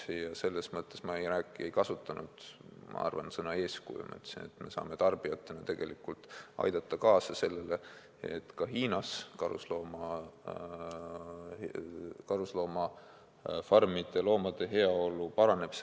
Ja selles mõttes ma ütlesin – ma arvan, et ma ei kasutanud sõna "eeskuju" –, et me saame tarbijatena tegelikult aidata kaasa sellele, et ka Hiinas karusloomafarmide loomade heaolu paraneb.